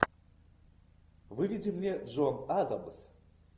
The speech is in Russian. выведи мне джон адамс